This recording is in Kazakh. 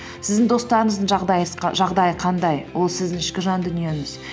сіздің достарыңыздың жағдайы қандай ол сіздің ішкі жан дүниеңіз